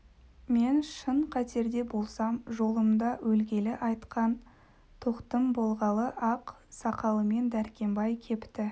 мен шын қатерде болсам жолымда өлгелі айтқан тоқтым болғалы ақ сақалымен дәркембай кепті